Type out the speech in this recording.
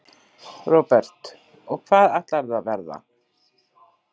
Róbert: Og hvað ætlarðu að verða?